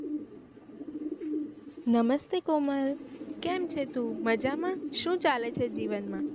નમસ્તે કોમલ કેમ છે તું મજા માં શું ચાલે છે જીવન માં